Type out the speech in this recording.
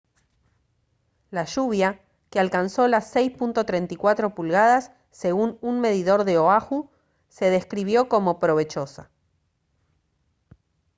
la lluvia que alcanzó las 6.34 pulgadas según un medidor de oahu se describió como «provechosa»